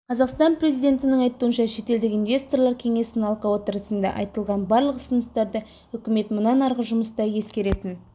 қазақстан президентінің айтуынша шетелдік инвесторлар кеңесінің алқа оытрысында айтылған барлық ұсыныстарды үкімет мұнан арғы жұмыста ескеретін